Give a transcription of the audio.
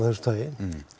þessu tagi